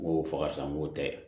N ko fo ka san n ko tɛ